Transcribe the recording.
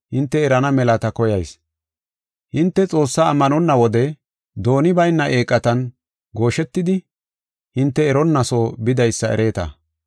Hinte Xoossaa ammanonna wode dooni bayna eeqatan gooshetidi, hinte eronna soo bidaysa ereeta.